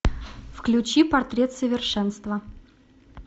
включи портрет совершенства